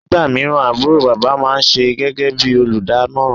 nígbàmíràn àbúrò bàbá ma ń ṣíṣe gégé bí olùdámọ̀ràn